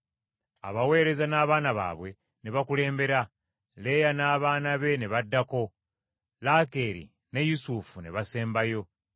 Abaweereza n’abaana baabwe ne bakulembera, Leeya n’abaana be ne baddako, Laakeeri ne Yusufu ne basembayo.